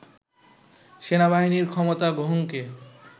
সেনাবাহিনীর ক্ষমতা গ্রহণকে